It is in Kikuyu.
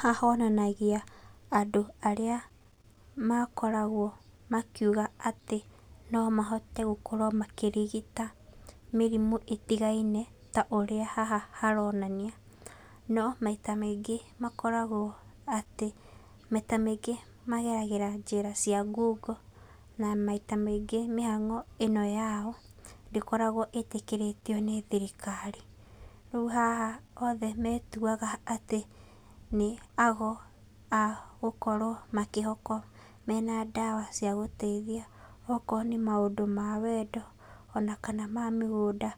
Haha honanagia andũ arĩa makoragwo makĩuga atĩ no mahote gũkorwo makĩrigita mĩrimũ ĩtigaine ta haha ũrĩa haronania. No maita maingĩ makoragwo atĩ, maita maingĩ mageragĩra njĩra cia ngungo na maita maingĩ mĩhang'o ĩno yao ndĩkoragwo ĩtĩkĩrĩtio nĩ thirikari. Rĩu haha othe metuaga atĩ nĩ ago agũkorwo makĩhokwo mena ndawa ciagũteithia okorwo nĩ maũndũ ma wendo ona kana ma mĩgũnda.